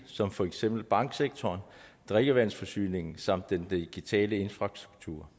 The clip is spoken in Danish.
som for eksempel banksektoren drikkevandsforsyningen samt den digitale infrastruktur